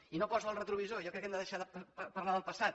i no poso el retrovisor jo crec que hem de deixar de parlar del passat